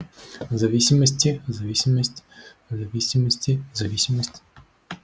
зависимости зависимость зависимости зависимость